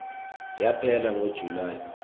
yaphela ngo july